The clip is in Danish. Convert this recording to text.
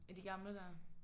Af de gamle der?